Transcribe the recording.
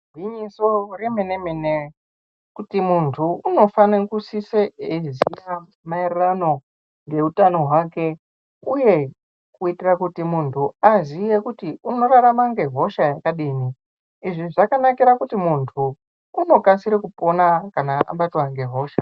Igwinyiso remene-mene kuti muntu unofane kusise eiziya maererano ngeutano hwake, uye kuitira kuti muntu aziye kuti unorarama ngehosha yakadini. Izvi zvakanakira kuti muntu unokasire kupona kana abatwa ngehosha.